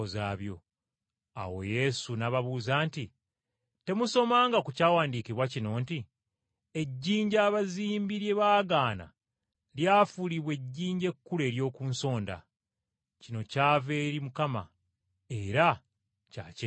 Awo Yesu n’ababuuza nti, “Temusomanga ku Kyawandiikibwa kino nti, “ ‘Ejjinja abazimbi lye baagaana lye lifuuse ejjinja ekkulu ery’oku nsonda. Kino kyava eri Mukama era kya kyewuunyo.’